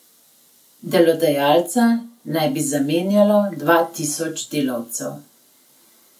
Delodajalca naj bi zamenjalo dva tisoč delavcev.